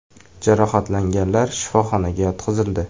Jarohatlanganlar shifoxonaga yotqizildi.